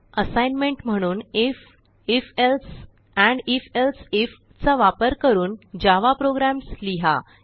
assignment म्हणून if if else end if else if चा वापर करून जावा प्रोग्राम्स लिहा